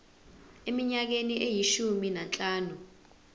eminyakeni eyishumi nanhlanu